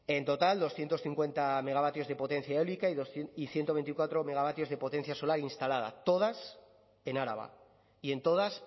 en total doscientos cincuenta megavatios de potencia eólica y ciento veinticuatro megavatios de potencia solar instalada todas en araba y en todas